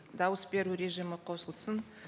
дауыс беру режимі қосылсын